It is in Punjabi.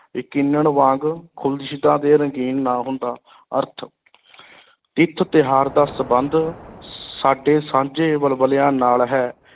ਯਕੀਨਣ ਵਾਂਗ ਅਤੇ ਰੰਗੀਨ ਨਾ ਹੁੰਦਾ ਅਰਥ ਤਿਥ ਤਿਉਹਾਰ ਦਾ ਸੰਬੰਧ ਸਾਡੇ ਸਾਂਝੇ ਵਲਵਲਿਆਂ ਨਾਲ ਹੈ।